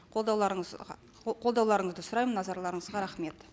қолдауларыңызға қолдауларыңызды сұраймын назарларыңызға рахмет